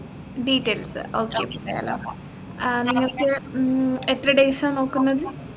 details അഹ് okay പറയാലോ ആഹ് നിങ്ങക്ക് മ്മ് എത്ര days ആ നോക്കുന്നത്